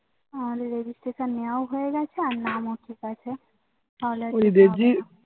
আমাদের Registration নেয়াও হয়েগেছে আর নাম ও ঠিকাছে তাহলে